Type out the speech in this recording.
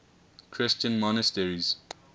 christian monasteries